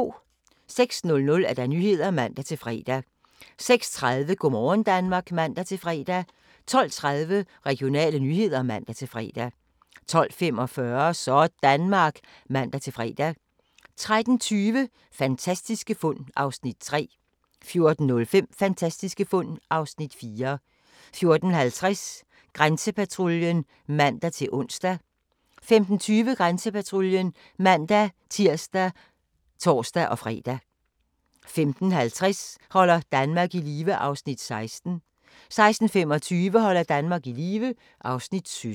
06:00: Nyhederne (man-fre) 06:30: Go' morgen Danmark (man-fre) 12:30: Regionale nyheder (man-fre) 12:45: Sådanmark (man-fre) 13:20: Fantastiske fund (Afs. 3) 14:05: Fantastiske fund (Afs. 4) 14:50: Grænsepatruljen (man-ons) 15:20: Grænsepatruljen (man-tir og tor-fre) 15:50: Holder Danmark i live (Afs. 16) 16:25: Holder Danmark i live (Afs. 17)